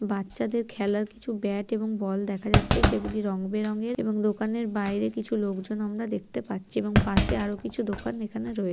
বাচ্চাদের খেলার কিছু ব্যাট এবং বল দেখা যাচ্ছে সেগুলি রং বেরংয়ের এবং দোকানের বাইরে কিছু লোকজন আমরা দেখতে পাচ্ছি এবং পাশে আরও কিছু দোকান এখানে রয়েছে--